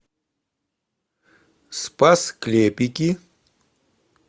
спас клепики